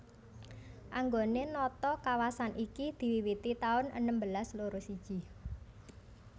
Anggone nata kawasan iki diwiwiti taun enem belas loro siji